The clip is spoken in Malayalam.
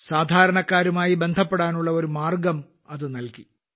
സാധാരണക്കാരുമായി ബന്ധപ്പെടാനുള്ള ഒരു മാർഗം അതു നല്കി